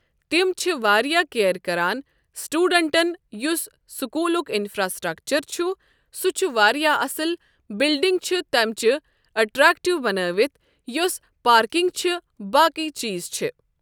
تِم چھ واریاہ کِیر کران سِٹیوٗڈنٹن یُس سکوٗلُک اِنفراسِٹرکچر چھُ سُہ چھُ واریاہ اَصل بِلڈِنگ چھ تٔمۍچہِ اٹریکٹِو بنأیِتھ یۄس پارکِنگ چھ باقے چیٖز چھ ۔